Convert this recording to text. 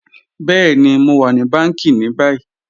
Bẹẹ̀ni, Mo wa ni bàńkí ni bàyì.